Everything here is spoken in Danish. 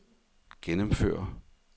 gennemføre